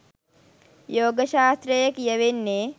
යෝග ශාස්ත්‍රයේ කියවෙන්නේ